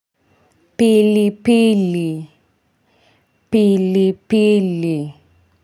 Pili pili pili.